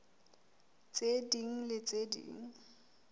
tse ding le tse ding